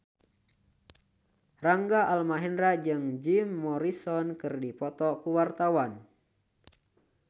Rangga Almahendra jeung Jim Morrison keur dipoto ku wartawan